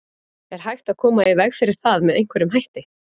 Er hægt að koma í veg fyrir það með einhverjum hætti?